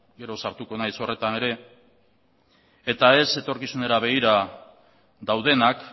gero sartuko naiz horretan ere eta ez etorkizunera begira daudenak